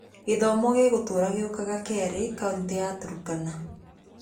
Gĩthomo gĩgũtũũra gĩũkaga kerĩ kaunti ya Turkana.